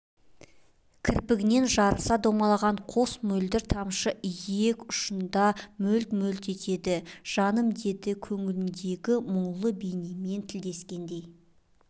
кірпігінен жарыса домалаған қос мөлдір тамшы иек ұшында мөлт-мөлт етеді жаным деді көңіліндегі нұрлы бейнемен тілдескендей